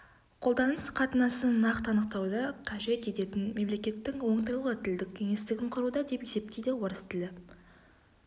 қолданыс қатынасын нақты анықтауды қажет ететін мемлекеттің оңтайлы тілдік кеңістігін құруда деп есептейді орыс тілі